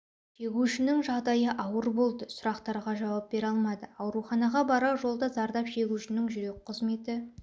шегушінің жағдайы ауыр болды сұрақтарға жауап бере алмады ауруханаға барар жолда зардап шегушінің жүрек қызметі